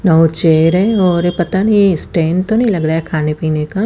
नौ chair है और पता नि स्टैंड तो नि लग रा हैं खाने पीने का--